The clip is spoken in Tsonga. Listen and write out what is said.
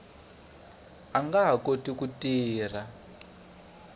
nga ha koti ku tirha